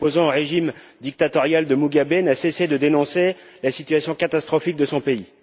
Cet opposant au régime dictatorial de Mugabe n'a cessé de dénoncer la situation catastrophique de son pays.